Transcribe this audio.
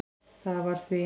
Það var því